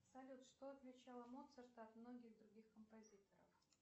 салют что отличало моцарта от многих других композиторов